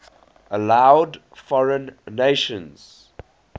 allowed foreign nations